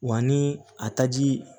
Wa ni a taji